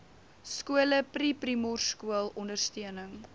skole preprimorskool ondersteuning